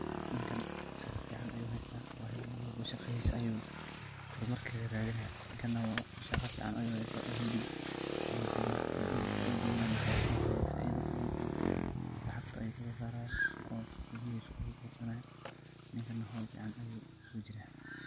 Ninkaan shaqoo fican ayu haystah marka shaqathesa ayu hoor mar kahelaya shaqoo fican ayu haystah helib ayu duuwah, maxuu kaheelaya faitho fiican oo lacagta kaso saaraya, ninkan hool fican ayu kujirah.